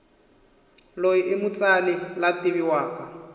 loyi imutsali lwativiwaka